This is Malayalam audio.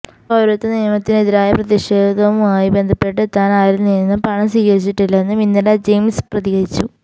പൌരത്വ നിയമത്തിന് എതിരായ പ്രതിഷേധവുമായി ബന്ധപ്പെട്ട് താന് ആരില് നിന്നും പണം സ്വീകരിച്ചിട്ടില്ലെന്നും ഇന്ദിര ജയ്സിംഗ് പ്രതികരിച്ചു